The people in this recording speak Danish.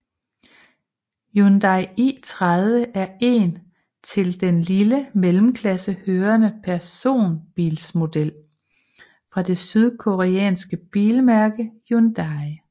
Hyundai i30 er en til den lille mellemklasse hørende personbilsmodel fra det sydkoreanske bilmærke Hyundai